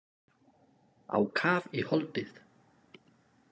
Á kaf í holdið.